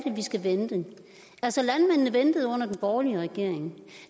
vi skal vente altså landmændene ventede under den borgerlige regering